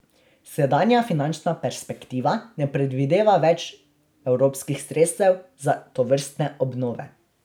Sedanja finančna perspektiva ne predvideva več evropskih sredstev za tovrstne obnove.